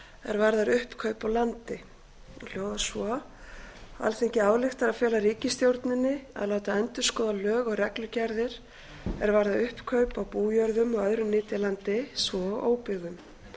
er varðar uppkaup á landi hún hljóðar svo alþingi ályktar að fela ríkisstjórninni að láta endurskoða lög og reglugerðir er varða uppkaup á bújörðum og öðru nytjalandi svo og óbyggðum